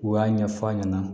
U y'a ɲɛfɔ a ɲɛna